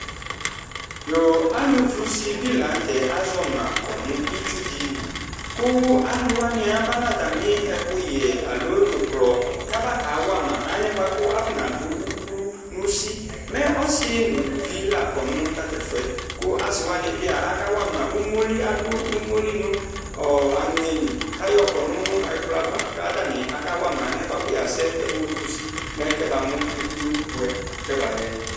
Yo alu vliɛ usi bi nu tɛ azɔma kɔ nu itsudi wu ku aluwani buaku aba nu atami ɛkuyɛ alo dzuklɔ kaba kawama alɛ na yɛ aƒɔ nadu dzuklɔ nu usi mɛ ɔsi nu uluvi la kɔ nu tatɛfuɛ ku asiwanibia akawama umoli adu umoli nu aŋɛli kayɔ du nu ɛkplɔ ava atani akawama alɛna yɛ yasɛ kɛmɔ vli usi kɛma mu ukulubuɛ kɛmayɛ